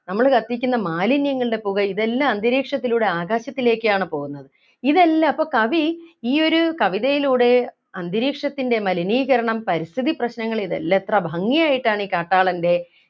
നമ്മൾ കത്തിക്കുന്ന മാലിന്യങ്ങളുടെ പുക ഇതെല്ലാം അന്തരീക്ഷത്തിലൂടെ ആകാശത്തിലേക്കാണ് പോകുന്നത് ഇതെല്ലം അപ്പൊ കവി ഈ ഒരു കവിതയിലൂടെ അന്തരീക്ഷത്തിൻ്റെ മലിനീകരണം പരിസ്ഥിതി പ്രശ്നങ്ങൾ ഇതെല്ലാം എത്ര ഭംഗിയായിട്ടാണ് ഈ കാട്ടാളൻ്റെ